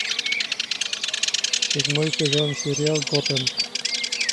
седьмой сезон сериал готэм